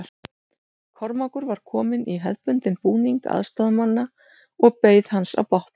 Kormákur var kominn í hefðbundinn búning aðstoðarmanna og beið hans á bátnum.